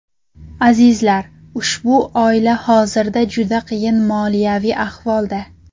Azizlar, ushbu oila hozirda juda qiyin moliyaviy ahvolda.